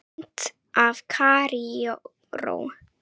Mynd af Kaíró